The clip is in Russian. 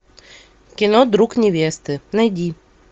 кино друг невесты найди